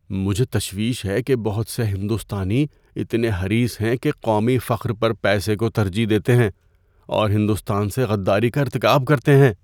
مجھے تشویش ہے کہ بہت سے ہندوستانی اتنے حریص ہیں کہ قومی فخر پر پیسے کو ترجیح دیتے ہیں اور ہندوستان سے غداری کا ارتکاب کرتے ہیں۔